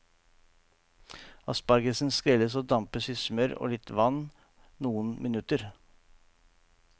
Aspargesen skrelles og dampes i smør og litt vann noen minutter.